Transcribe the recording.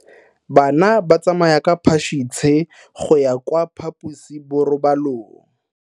Bana ba tsamaya ka phašitshe go ya kwa phaposiborobalong.